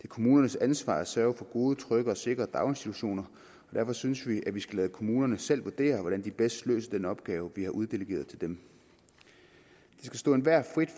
kommunernes ansvar at sørge for gode trygge og sikre daginstitutioner og derfor synes vi at vi skal lade kommunerne selv vurdere hvordan de bedst løser den opgave vi har uddelegeret til dem det skal stå enhver frit